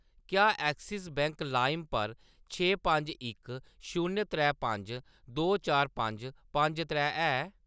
क्या Axis bank लाइम पर छे पंज इक शून्य त्रै पंज दो चार पंज पंज त्रै है?